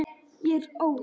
Ég er óð.